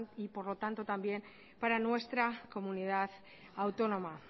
y por lo tanto también para nuestra comunidad autónoma